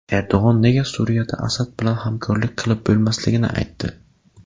Erdo‘g‘on nega Suriyada Asad bilan hamkorlik qilib bo‘lmasligini aytdi.